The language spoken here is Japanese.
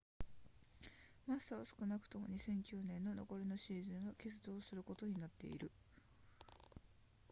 マッサは少なくとも2009年の残りのシーズンは欠場することになっている